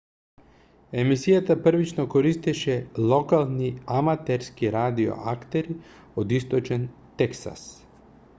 емисијата првично користеше локални аматерски радио актери од источен тексас